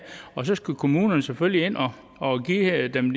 og så skal kommunerne selvfølgelig ind og give dem